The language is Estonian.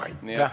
Aitäh!